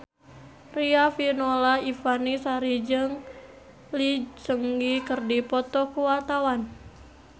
Riafinola Ifani Sari jeung Lee Seung Gi keur dipoto ku wartawan